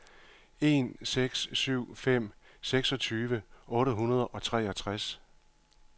en seks syv fem seksogtyve otte hundrede og treogtres